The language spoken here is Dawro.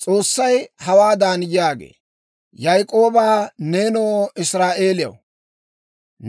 S'oossay hawaadan yaagee; «Yaak'ooba, nenoo Israa'eeliyaw,